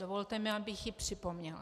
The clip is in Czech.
Dovolte mi, abych ji připomněla.